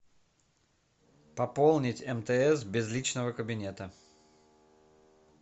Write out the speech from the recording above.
пополнить мтс без личного кабинета